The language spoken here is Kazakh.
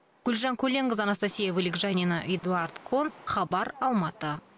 гүлжан көленқызы анастасия вылегжанина эдуард кон хабар алматы